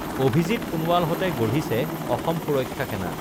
অভিজিৎ সোণোৱালহঁতে গঢ়িছে অসম সুৰক্ষা সেনা